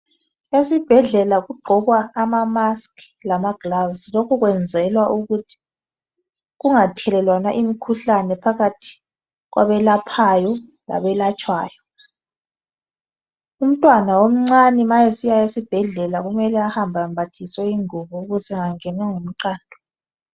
Esibhedlela kugqokwa izifonyo lamagilovisi lokhu kwenzelwa ukuthi kungathelelwana imikhuhlane phakathi kwabelaphayo labelatshwayo umntwana omncane ma esiya esibhedlela kumele ahambe embathiswe ingubo ukuze engangenwa ngumqando.